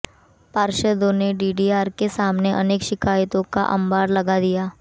पार्षदों ने डीडीआर के सामने अनेक शिकायतों का अम्बार लगा दिया